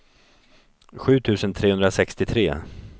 sju tusen trehundrasextiotre